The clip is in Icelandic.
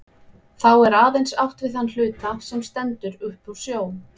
Þá er aðeins átt við þann hluta, sem stendur upp úr sjó.